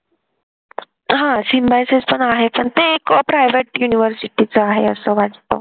हा symboysis पण आहे पण ते एक private university च आहे असं वाटत